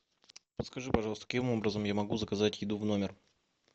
подскажи пожалуйста каким образом я могу заказать еду в номер